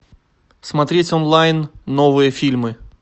смотреть онлайн новые фильмы